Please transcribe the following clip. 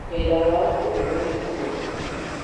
Wĩra wa ũmũthĩ nĩ mũritũ mũno